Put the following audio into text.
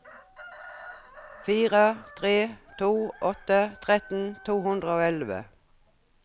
fire tre to åtte tretten to hundre og elleve